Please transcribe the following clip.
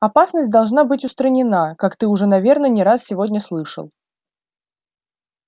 опасность должна быть устранена как ты уже наверное не раз сегодня слышал